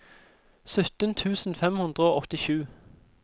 sytten tusen fem hundre og åttisju